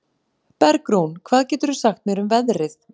Bergrún, hvað geturðu sagt mér um veðrið?